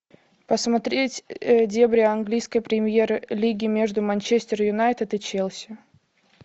посмотреть дерби английской премьер лиги между манчестер юнайтед и челси